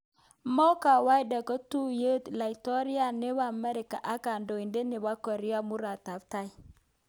Mo kawaida kotuiyo laitoriat nebo Amerika ak kandoindet nebo Korea Murotkatam